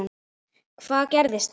Hvað gerðist þar?